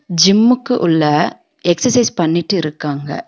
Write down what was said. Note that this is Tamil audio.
ஜிம்முக்கு உள்ள எக்சர்சைஸ் பண்ணிட்டு இருக்காங்க.